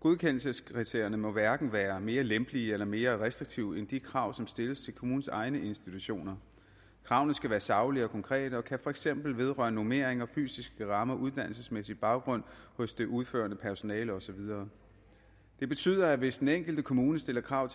godkendelseskriterierne må hverken være mere lempelige eller mere restriktive end de krav som stilles til kommunens egne institutioner kravene skal være saglige og konkrete og kan for eksempel vedrøre normeringer fysiske rammer uddannelsesmæssig baggrund hos det udførende personale og så videre det betyder feks at hvis den enkelte kommune stiller krav